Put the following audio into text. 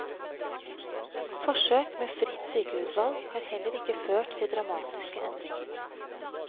Forsøk med fritt sykehusvalg har heller ikke ført til dramatiske endringer.